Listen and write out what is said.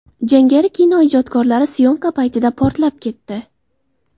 Jangari kino ijodkorlari syomka paytida portlab ketdi.